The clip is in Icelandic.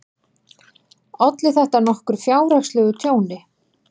Olli þetta nokkru fjárhagslegu tjóni.